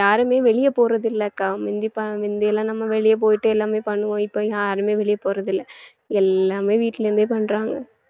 யாருமே வெளியே போறது இல்லை அக்கா முந்தி ப~ முந்தி எல்லாம் நம்ம வெளிய போயிட்டு எல்லாமே பண்ணுவோம இப்ப யாருமே வெளியே போறதில்லை எல்லாமே வீட்டுல இருந்தே பண்றாங்க